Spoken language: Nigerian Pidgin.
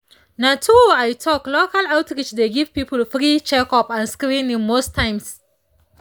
na true i talk local outreach dey give people free checkup and screening most times